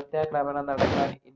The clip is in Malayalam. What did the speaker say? ഒറ്റതവണ നടത്താന്‍